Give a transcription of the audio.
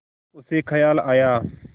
उसे ख़याल आया